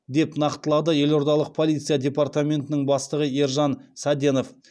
деп нақтылады елордалық полиция департаментінің бастығы ержан саденов